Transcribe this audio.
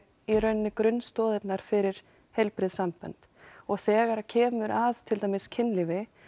í raun grunnstoðirnar fyrir heilbrigð sambönd og þegar kemur að kynlífi